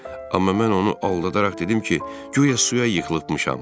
Amma mən onu aldadaraq dedim ki, guya suya yıxılıbmışam.